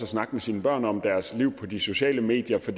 snakke med sine børn om deres liv på de sociale medier for